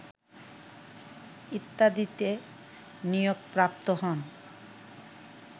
ইত্যাদিতে নিয়োগপ্রাপ্ত হন